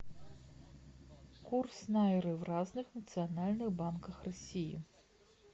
курс найры в разных национальных банках россии